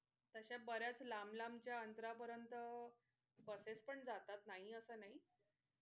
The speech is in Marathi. तश्या बऱ्याच लांब लांब च्या अंतरापर्यंत buses पण जातात नाही असं नाही.